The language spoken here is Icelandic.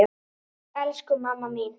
Elsku mamma mín!